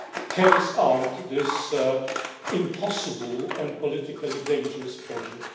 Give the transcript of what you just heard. carries out this impossible and politically dangerous project?